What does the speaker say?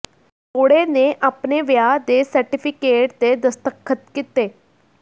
ਜੋੜੇ ਨੇ ਆਪਣੇ ਵਿਆਹ ਦੇ ਸਰਟੀਫਿਕੇਟ ਤੇ ਦਸਤਖਤ ਕੀਤੇ